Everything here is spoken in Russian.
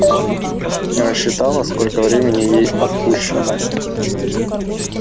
не рассчитала сколько времени ей отпущено